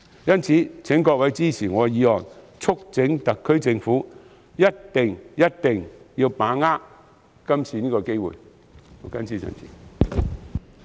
因此，請各位議員支持我的修正案，促請特區政府一定、務必把握今次這個機會。